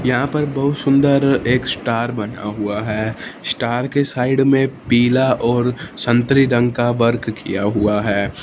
यहां पर बहुत सुंदर एक स्टार बना हुआ है स्टार के साइड में पीला और संतरी रंग का वर्क किया हुआ है।